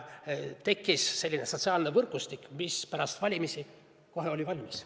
Tekkis selline sotsiaalne võrgustik, mis pärast valimisi oli kohe valmis.